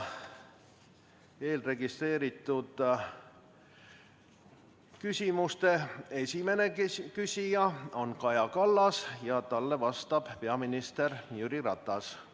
Eelregistreeritud küsimuse esimene esitaja on Kaja Kallas, talle vastab peaminister Jüri Ratas.